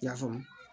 I y'a faamu